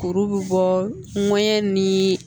Kuru bɛ bɔ n kɔɲɛn ni